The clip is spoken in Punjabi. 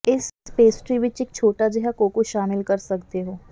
ਇਸ ਪੇਸਟਰੀ ਵਿੱਚ ਇੱਕ ਛੋਟਾ ਜਿਹਾ ਕੋਕੋ ਸ਼ਾਮਿਲ ਕਰ ਸਕਦੇ ਹੋ